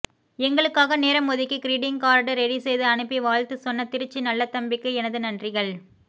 எங்களுக்காக நேரம் ஒதுக்கி கிரிட்டிங் கார்டு ரெடி செய்து அனுப்பி வாழ்த்து சொன்ன திருச்சி நல்லதம்பிக்கு எனது நன்றிகள்